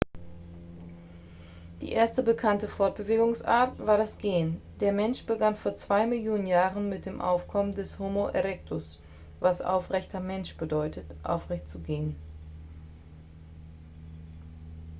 die erste bekannte fortbewegungsart war das gehen. der mensch begann vor zwei millionen jahren mit dem aufkommen des homo erectus was aufrechter mensch bedeutet aufrecht zu gehen